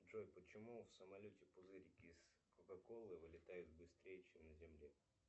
джой почему в самолете пузырики из кока колы вылетают быстрее чем на земле